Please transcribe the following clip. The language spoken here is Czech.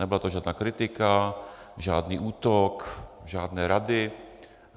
Nebyla to žádná kritika, žádný útok, žádné rady.